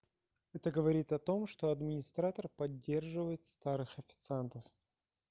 это говорит о том что администратор поддерживает старых официантов